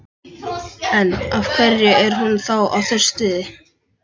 En, af hverju er hún þá að þessu streði?